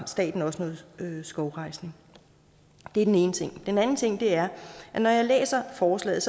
staten også noget skovrejsning det er den ene ting den anden ting er at når jeg læser forslaget